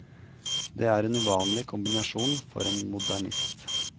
Det er en uvanlig kombinasjon for en modernist.